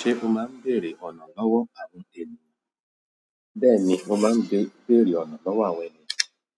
Ṣé o máa ń bèrè ọ̀nà lọ́wọ́ àwọn ènìyàn? Bẹ́ẹ̀ni, mo máa ń bèrè ọ̀nà lọ́wọ́ àwọn ènìyàn.